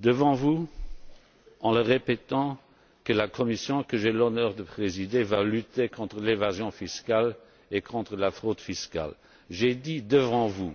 Devant vous, j'ai dit et répété que la Commission que j'ai l'honneur de présider va lutter contre l'évasion fiscale et contre la fraude fiscale. J'ai dit devant vous,